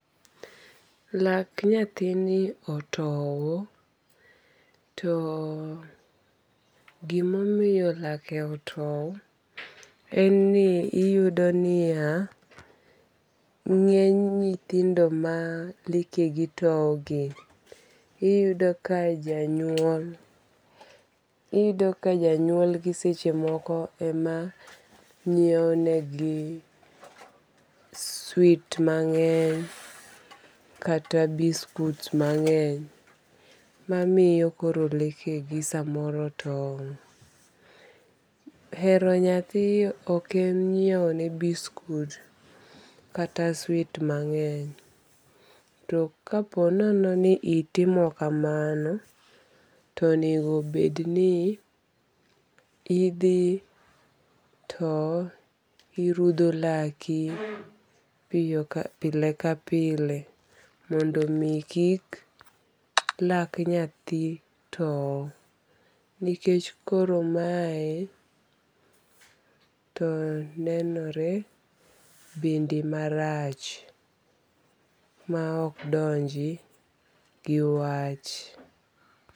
Lak nyathini otow. To gimomiyo lake otow en ni iyudo niya, ng'eny nyithindo ma leke gi tow gi, iyudo ka janyuol iyudo ka janyuol gi seche moko ema nyiew ne gi swit mang'eny kata biskut mang'eny mamiyo koro leke gi samoro tow. Hero nyathi ok en nyiew ne biskut kata swit mang'eny. To kaponono ni itimo kamano to onego be ni idhi to irudho laki pile ka pile mondo mi kik lak nyathi tow. Nikech koro mae to nenore bende marach ma ok donji gi wach.